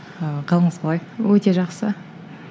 ыыы қалыңыз қалай өте жақсы